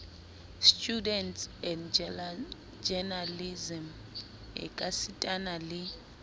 studies and journalism ekasitana le